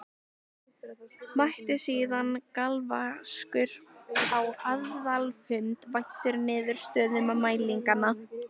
Mætti síðan galvaskur á aðalfund væddur niðurstöðum mælinganna.